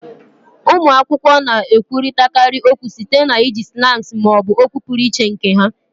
Ụmụ akwụkwọ na-ekwurịtakarị okwu site na iji slangs ma ọ bụ okwu pụrụ iche nke ha